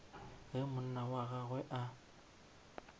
ge monna wa gagwe a